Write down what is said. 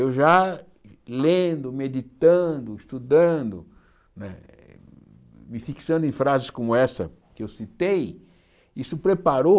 Eu já, lendo, meditando, estudando, né me fixando em frases como essa que eu citei, isso preparou...